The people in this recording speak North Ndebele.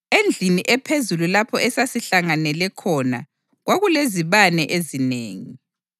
Endlini ephezulu lapho esasihlanganele khona kwakulezibane ezinengi.